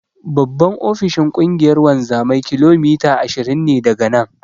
Babban ofishin Ƙungiyar wanzamai kilomita ashirin ne daga nan.